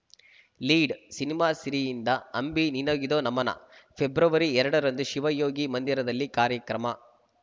lead cinema ಸಿರಿಯಿಂದ ಅಂಬಿ ನಿನಗಿದೋ ನಮನ ಫೆಬ್ರವರಿ ಎರಡರಂದು ಶಿವಯೋಗಿ ಮಂದಿರದಲ್ಲಿ ಕಾರ್ಯಕ್ರಮ